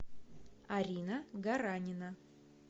арина гаранина